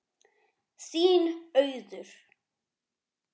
Þín Auður.